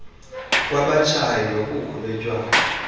kwabatshayi nobukho botywala